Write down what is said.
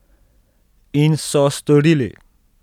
In so storili!